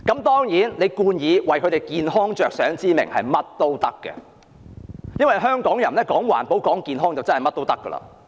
當然，她美其名是為他們的健康着想，所以無論怎樣做也可以，因為香港人都重視環保及健康。